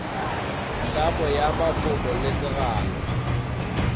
tlhamo ya mafoko le segalo